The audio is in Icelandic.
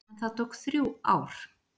En það tók þrjú ár.